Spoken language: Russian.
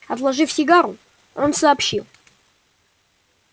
отложив сигару он сообщил